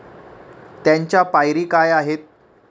त्यांच्या पायरी काय आहेत?